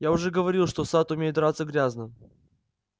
я уже говорил что сатт умеет драться грязно